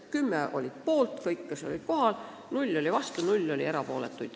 Kõik kümme kohal olnud komisjoni liiget olid poolt.